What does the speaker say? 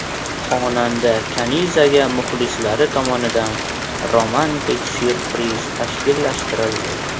Xonanda Kanizaga muxlislari tomonidan romantik syurpriz tashkillashtirildi.